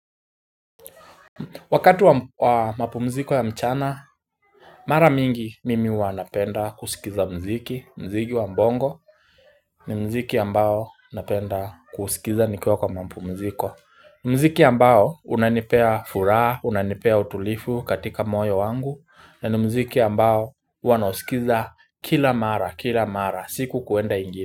Wakati wa mapumziko ya mchana, mara mingi mimi hua napenda kusikiza mziki, muziki wa bongo ni muziki ambao napenda kusikiza nikiwa kwa mapumziko ni muziki ambao unanipea furaha, unanipea utulivu katika moyo wangu na ni muziki ambao huwa nausikiza kila mara, kila mara, siku kuenda ingine.